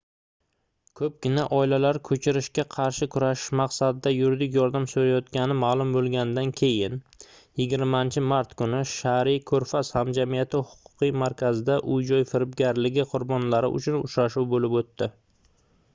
koʻpgina oilalar koʻchirishga qarshi kurashish maqsadida yuridik yordam soʻrayotgani maʼlum boʻlganidan keyin 20-mart kuni shariy koʻrfaz hamjamiyati huquqiy markazida uy-joy firibgarligi qurbonlari uchun uchrashuv boʻlib oʻtdi